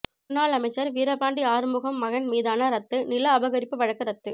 முன்னாள் அமைச்சர் வீரபாண்டி ஆறுமுகம் மகன் மீதான ரத்து நில அபகரிப்பு வழக்கு ரத்து